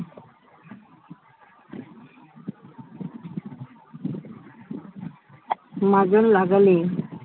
মাজন লাগালে